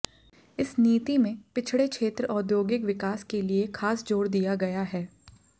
इस नीति में पिछड़े क्षेत्र औद्योगिक विकास के लिए खास जोर दिया गया है